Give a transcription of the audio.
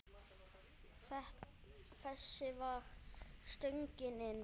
Þessi var stöngin inn.